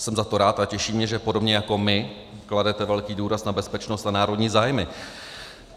Jsem za to rád a těší mě, že podobně jako my kladete velký důraz na bezpečnost a národní zájmy.